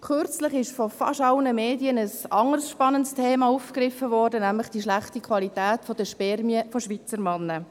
Kürzlich wurde von fast allen Medien ein anderes spannendes Thema aufgegriffen, nämlich die schlechte Qualität der Spermien von Schweizer Männern.